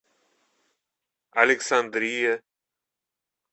александрия